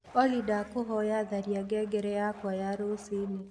olly ndakuhoya tharĩa ngengere yakwa ya rucĩĩni